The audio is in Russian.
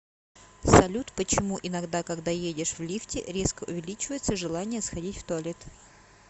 салют почему иногда когда едешь в лифте резко увеличивается желание сходить в туалет